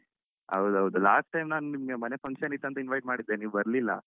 ಹೌದು ಹೌದು last time ನಾನ್ ನಿಮ್ಗೆ ಮನೆ function ಇತ್ತಂತ invite ಮಾಡಿದ್ದೆ ನೀವ್ ಬರ್ಲಿಲ್ಲ.